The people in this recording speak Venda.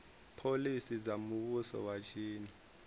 phoḽisi dza muvhuso wa tshino